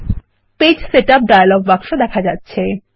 page setup dialog বাক্স দেখা যাচ্ছে